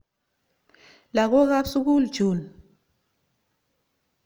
Lagok ap sukul chun.